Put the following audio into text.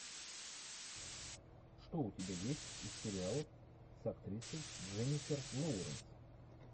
что у тебя есть из сериалов с актрисой дженнифер лоуренс